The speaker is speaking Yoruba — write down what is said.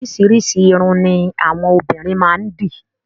Oríṣiríṣi ìrún ni àwọn obìnrin máa ń dì.